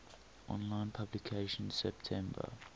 online publication september